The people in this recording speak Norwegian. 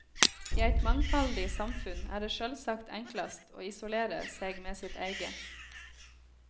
I eit mangfaldig samfunn er det sjølvsagt enklast å isolere seg med sitt eige.